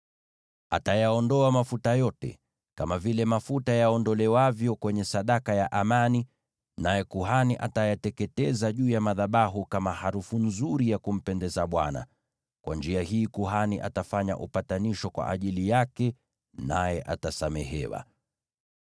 Atayaondoa mafuta yote, kama vile mafuta yaondolewavyo kwenye sadaka ya amani, naye kuhani atayateketeza juu ya madhabahu kama harufu nzuri ya kumpendeza Bwana . Kwa njia hii kuhani atafanya upatanisho kwa ajili yake, naye atasamehewa.